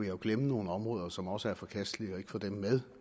jo glemme nogle områder som også er forkastelige og ikke få dem med